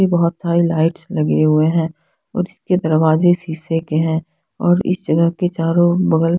ये बहोत सारे लाइट्स लगे हुए है और इसके दरवाजे शीशे के है और इस जगह के चारो बगल--